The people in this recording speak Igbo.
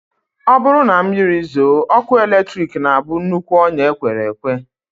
Ọ bụrụ na mmiri zoo, ọkụ eletrik na-abụ nnukwu ọnyá e kwere ekwe